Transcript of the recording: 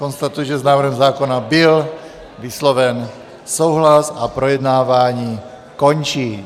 Konstatuji, že s návrhem zákona byl vysloven souhlas, a projednávání končím.